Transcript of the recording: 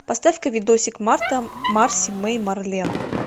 поставь ка видосик марта марси мэй марлен